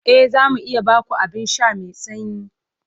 E, za mu iya ba ku abin sha mai sanyi.